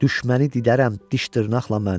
Düşməni didərəm diş-dırnaqla mən.